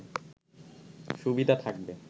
সুবিধা থাকবে